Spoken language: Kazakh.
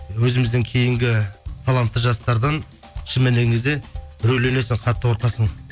өзімізден кейінгі талантты жастардан шын мәніне келген кезде үрейленесің қатты қорқасың